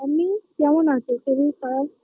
এমনিই কেমন আছে শরীর খারাপ